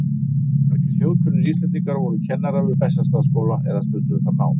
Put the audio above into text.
Margir þjóðkunnir Íslendingar voru kennarar við Bessastaðaskóla eða stunduðu þar nám.